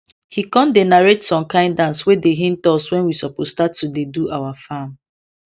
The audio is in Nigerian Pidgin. he con dey narrate some kind dance wey dey hint us when we suppose start to dey do our farm